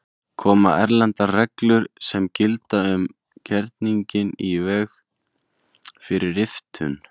Koma erlendar reglur sem gilda um gerninginn í veg fyrir riftun?